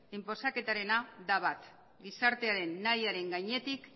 inposaketarena da bat gizartearen nahiaren gainetik